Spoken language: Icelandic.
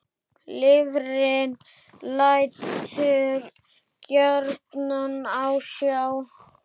Lifrin lætur gjarnan á sjá.